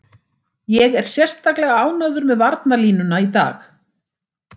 Ég er sérstaklega ánægður með varnarlínuna í dag.